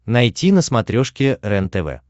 найти на смотрешке рентв